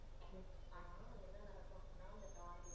அந்த target